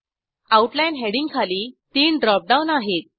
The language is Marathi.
आउटलाईन हेडिंगखाली 3 ड्रॉप डाऊन आहेत